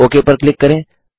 okay पर click करें